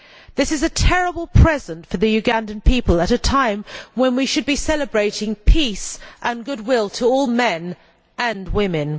This is a terrible present for the Ugandan people at a time when we should be celebrating peace and goodwill to all men and women.